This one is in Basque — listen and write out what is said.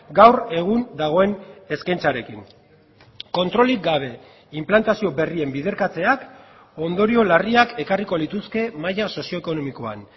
gaur egun dagoen eskaintzarekin kontrolik gabe inplantazio berrien biderkatzeak ondorio larriak ekarriko lituzke maila sozioekonomikoan